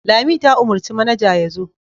Lami ta umarci manaja ya zo.